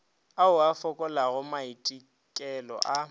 ao a fokolago maitekelo a